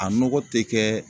A nɔgɔ te kɛɛ